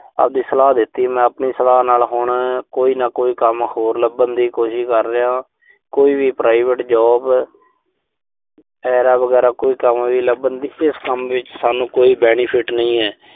ਆਬਦੀ ਸਲਾਹ ਦਿੱਤੀ। ਮੈਂ ਆਪਣੀ ਸਲਾਹ ਨਾਲ ਹੁਣ ਕੋਈ ਨਾ ਕੋਈ ਕੰਮ ਹੋਰ ਲੱਭਣ ਦੀ ਕੋਸ਼ਿਸ਼ ਕਰ ਰਿਹਾਂ। ਕੋਈ ਵੀ private job ਐਰਾ-ਵਗੈਰਾ ਕੋਈ ਕੰਮ ਵੀ ਲੱਭਣ ਦੀ। ਕਿਉਂਕਿ ਇਸ ਕੰਮ ਵਿੱਚ ਸਾਨੂੰ ਕੋਈ ਬੈਨੀਫਿਟ ਨਹੀਂ ਐ।